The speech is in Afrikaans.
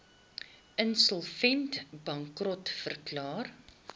insolvent bankrot verklaar